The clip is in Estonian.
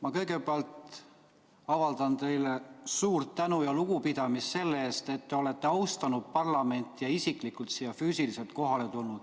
Ma kõigepealt avaldan teile suurt tänu ja lugupidamist selle eest, et olete austanud parlamenti ja siia isiklikult kohale tulnud.